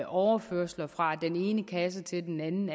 overførsler fra den ene kasse til den anden